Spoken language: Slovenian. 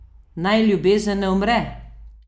Naj ljubezen ne umre!